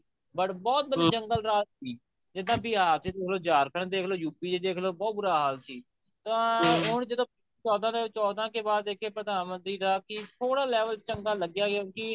but ਬਹੁਤ ਜੰਗਲ ਰਾਜ ਸੀ ਇਹ ਤਾਂ ਬਿਹਾਰ ਚ ਦੇਖਲੋ ਝਾਰਖੰਡ ਚ ਦੇਖਲੋ U.P ਚ ਦੇਖਲੋ ਬਹੁਤ ਬੁਰਾ ਹਾਲ ਸੀ ਤਾਂ ਹੁਣ ਜਦੋਂ ਚੋਦਾਂ ਦੇ ਬਾਅਦ ਚੋਣ ਦਾ ਦੇਖੀਏ ਪ੍ਰਧਾਨਮੰਤਰੀ ਦਾ ਕਿ ਥੋੜਾ level ਚੰਗਾ ਲੱਗਿਆ ਕਿਉਂਕਿ